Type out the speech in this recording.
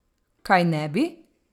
Kaj ne bi?